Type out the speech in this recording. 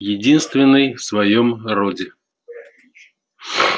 единственный в своём роде